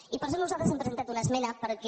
i per això nosaltres hem presen·tat una esmena perquè